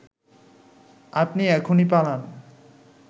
আপনি এখুনি পালান